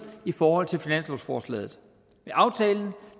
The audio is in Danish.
i forhold til finanslovsforslaget med aftalen